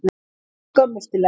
Þetta er skömmustulegt.